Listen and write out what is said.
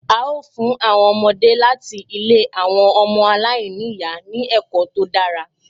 A ó fún àwọn ọmọdé láti ilé àwọn ọmọ aláìní ìyá ní ẹ̀kọ́ tó dára